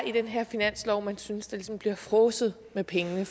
i den her finanslov man synes der ligesom bliver fråset med pengene